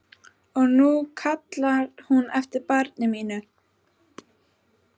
Og nú kallaði hún eftir barni mínu.